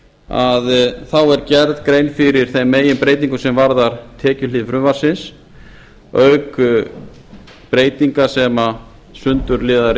að þá er gerð grein fyrir þeim meginbreytingum sem varða tekjuhlið frumvarpsins auk breytinga sem sundurliðaðar